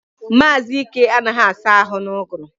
Mazi Ike anagahi asa ahu na-uguru